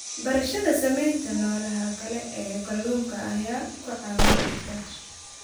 Barashada saamaynta noolaha kale ee kalluunka ayaa ku caawin karta.